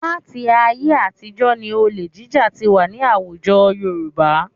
Láti ayé àtijọ́ ni olè jíjà ti wà ní àwùjọ Yorùbá